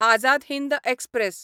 Azad Hind express